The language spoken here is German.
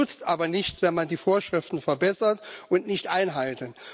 Es nützt aber nichts, wenn man die Vorschriften verbessert und nicht einhält.